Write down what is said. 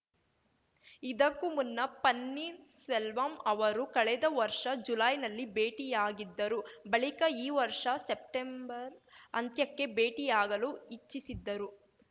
ಇದಕ್ಕೂ ಮುನ್ನ ಪನ್ನೀರ್ ಸೆಲ್ವಂ ಅವರು ಕಳೆದ ವರ್ಷ ಜುಲೈನಲ್ಲಿ ಭೇಟಿಯಾಗಿದ್ದರು ಬಳಿಕ ಈ ವರ್ಷ ಸೆಪ್ಟೆಂಬರ್‌ ಅಂತ್ಯಕ್ಕೆ ಭೇಟಿಯಾಗಲು ಇಚ್ಛಿಸಿದ್ದರು